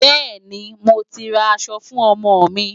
Bẹ́ẹ̀ni, mo ti ra aṣọ fún ọmọ mi.